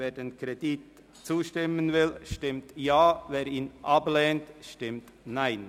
Wer dem Kredit zustimmen will, stimmt Ja, wer diesen ablehnt, stimmt Nein.